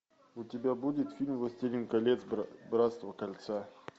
у тебя будет фильм властелин колец братство кольца